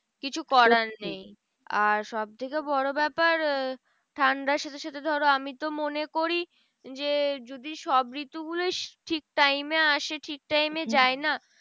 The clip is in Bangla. কিছু করার নেই। আর সব থেকে বড় ব্যাপার ঠান্ডার সাথে সাথে ধরো আমি তো মনে করি যে, যদি সব ঋতু গুলোই ঠিক time এ আসে ঠিক time এ যায়না?